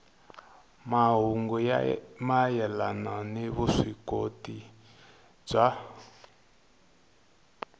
mahungu mayelana ni vuswikoti bya